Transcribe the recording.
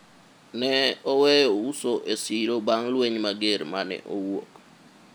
ne oweyo uso e siro bang' lweny mager mane owuok